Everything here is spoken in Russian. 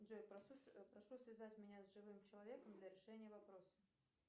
джой прошу связать меня с живым человеком для решения вопроса